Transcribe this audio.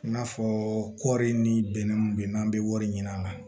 I n'a fɔ kɔri ni bɛnɛ be yen n'an be wari ɲini a la